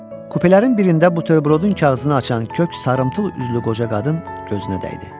Kupelərin birində bu təyirodun kağızını açan kök sarımtul üzlü qoca qadın gözünə dəydi.